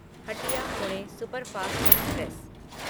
Hatia Pune superfast express